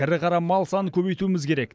ірі қара мал санын көбейтуіміз керек